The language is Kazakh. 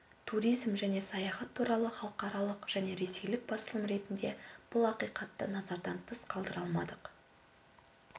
туризм және саяхат туралы халықаралық және ресейлік басылым ретінде бұл ақиқатты назардан тыс қалдыра алмадық